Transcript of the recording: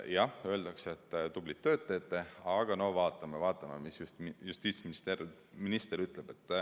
Jah, öeldakse, et tublit tööd teete, aga no vaatame, vaatame, mis justiitsminister ütleb.